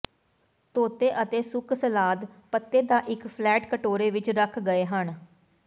ਧੋਤੇ ਅਤੇ ਸੁੱਕ ਸਲਾਦ ਪੱਤੇ ਦਾ ਇੱਕ ਫਲੈਟ ਕਟੋਰੇ ਵਿੱਚ ਰੱਖੇ ਗਏ ਹਨ